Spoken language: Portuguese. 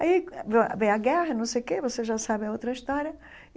Aí vem vem a guerra, não sei o que você já sabe a outra história.